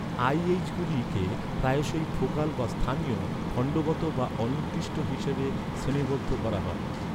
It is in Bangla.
আই.এইচ.গুলিকে প্রায়শই ফোকাল বা স্থানীয়, খণ্ডগত বা অনির্দিষ্ট হিসাবে শ্রেণীবদ্ধ করা হয়।